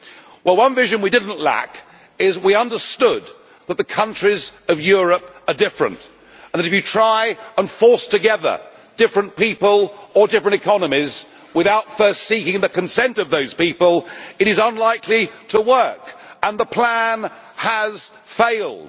Well, in one respect we did not lack vision we understood that the countries of Europe are different, and that if you try to force together different people or different economies, without first seeking the consent of those people, it is unlikely to work, and the plan has failed.